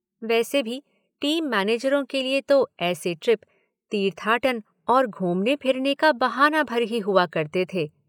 वैसे भी टीम मैनेजरों के लिए तो ऐसे ट्रिप तीर्थाटन और घूमने-फिरने का बहाना भर ही हुआ करते थे।